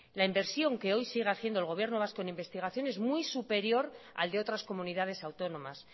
la inversión que hoy sigue haciendo el gobierno vasco en investigación es muy superior al de otras comunidades autónomas